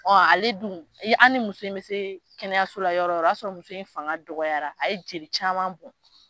Ale dun ? an ni muso mi se kɛnɛyaso la yɔrɔ o yɔrɔ, o y'a sɔrɔ muso in fanga dɔgɔyara, a ye jeli caman bɔn.